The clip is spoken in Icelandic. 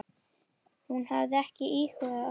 Hún hafi ekki íhugað afsögn.